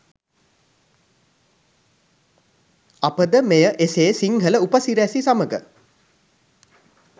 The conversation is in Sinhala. අපද මෙය එසේ සිංහල උපසිරැසි සමග